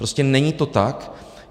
Prostě není to tak.